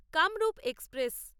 Kamrup express